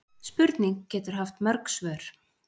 Spurning getur haft mörg svör.